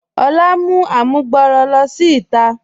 Olà mú àmùgbọ̀rọ̀ ló sí ìtà.